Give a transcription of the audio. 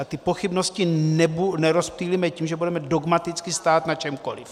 A ty pochybnosti nerozptýlíme tím, že budeme dogmaticky stát na čemkoliv.